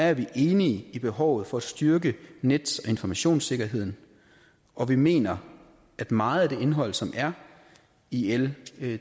er vi enige i behovet for at styrke nets og informationssikkerheden og vi mener at meget af det indhold som er i l